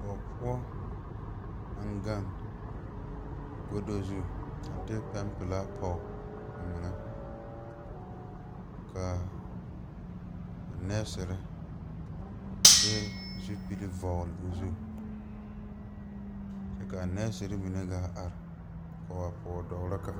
Pɔgepoɔ naŋ gaŋ godo zu a de pɛmpilaa pɔg o eŋɛl kaa nɛɛsire a de zupile vɔgl o zu kyɛ kaanɛɛsire mine gaa are kɔg a pɔgedɔgro kaŋ.